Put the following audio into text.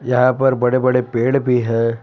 यहाँ पर बड़े बड़े पेड़ भी हैं।